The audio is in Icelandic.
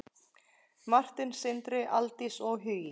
Martin, Sindri, Aldís og Hugi.